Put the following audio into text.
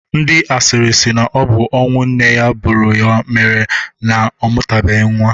Ndị asịrị sị na ọ bụ ọnụ nne ya buru ya mere ọ mụtabeghi nwa.